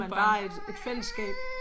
Har man bare et et fællesskab